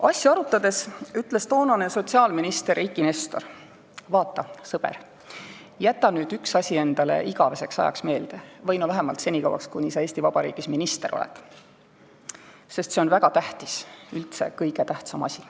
Asja arutades ütles toonane sotsiaalminister Eiki Nestor: "Vaata, sõber, jäta nüüd üks asi endale meelde igaveseks ajaks või vähemalt senikauaks, kuni sa Eesti Vabariigis minister oled, sest see on väga tähtis, üldse kõige tähtsam asi.